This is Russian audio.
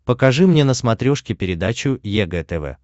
покажи мне на смотрешке передачу егэ тв